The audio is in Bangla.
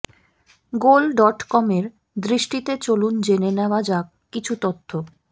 গোল ডট কমের দৃষ্টিতে চলুন জেনে নেয়া যাক কিছু তথ্য